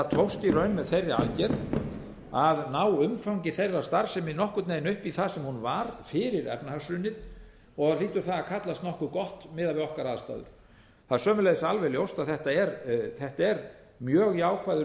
þeirri aðgerð að ná umfangi þeirrar starfsemi nokkurn veginn upp í það sem hún var fyrir efnahagshrunið og hlýtur það að kallast nokkuð gott miðað við okkar aðstæður það er sömuleiðis alveg ljóst að þetta er mjög jákvæður